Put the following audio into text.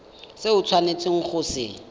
se o tshwanetseng go se